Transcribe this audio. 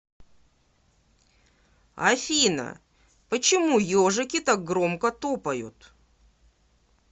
афина почему ежики так громко топают